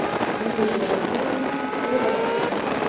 юлия яковлевна порайко